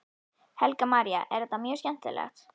Helga María: Er þetta mjög skemmtileg?